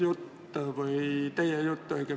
Suur tänu!